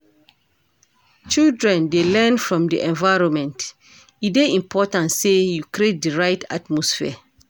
Children dey learn from di environment, e dey important sey you create di right atmosphere.